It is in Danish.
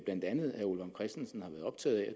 blandt andet herre ole vagn christensen har været optaget af